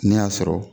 Ne y'a sɔrɔ